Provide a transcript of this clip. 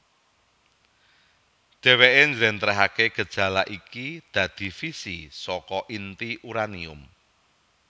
Dheweké njlentrehaké gejala iki dadi fisi saka inti uranium